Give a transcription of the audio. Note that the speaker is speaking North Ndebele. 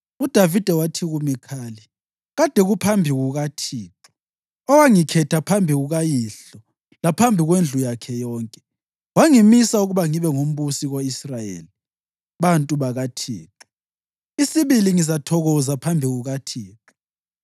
UDavida wathi kuMikhali, “Kade kuphambi kukaThixo, owangikhetha phambi kukayihlo laphambi kwendlu yakhe yonke, wangimisa ukuba ngibe ngumbusi ko-Israyeli bantu bakaThixo, isibili ngizathokoza phambi kukaThixo.